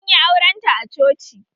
Anyi auren ta a coci